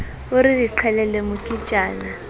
o re re qhelele moketjana